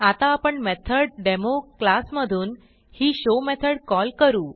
आता आपण method demo class मधून ही शो मेथड कॉल करू